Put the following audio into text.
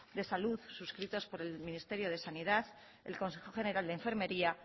de salud suscritos por el ministerio de sanidad el consejo general de enfermería